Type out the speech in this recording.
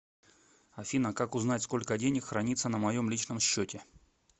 афина как узнать сколько денег храниться на моем личном счете